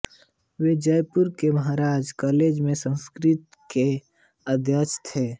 वे जयपुर के महाराजा कॉलेज में संस्कृत के अध्यक्ष थे